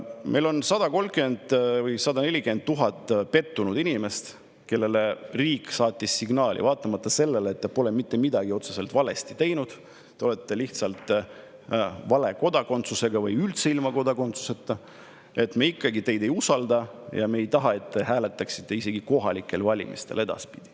Meil on 130 000 või 140 000 pettunud inimest, kellele riik saatis signaali: vaatamata sellele, et te pole mitte midagi otseselt valesti teinud, teil on lihtsalt vale kodakondsus või teil üldse ei ole kodakondsust, me ikkagi teid ei usalda ja me ei taha, et te edaspidi hääletaksite isegi kohalikel valimistel.